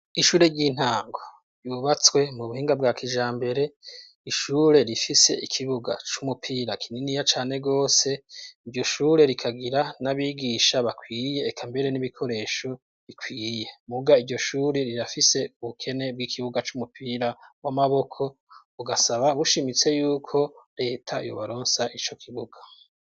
Ishure ry'intango yubatswe mu buhinga bwa kijambere ishure rifise ikibuga c'umupira kininiya cane rwose iryo shure rikagira n'abigisha bakwiye eka mbere n'ibikoresho bikwiye. Muga iryo shure rirafise ubukene bw'ikibuga c'umupira w'amaboko bugasaba bushimitse yuko leta yobaronsa ico kibuga.